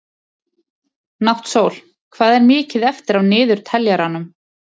Náttsól, hvað er mikið eftir af niðurteljaranum?